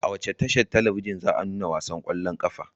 A wace tashar talabijin za a nuna wasan ƙwallon ƙafar?